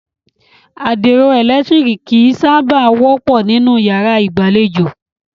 Àdìro ẹ̀lẹ̀tírìkì kìí sábà wọ́pọ̀ nínú yàrá ìgbàlejò.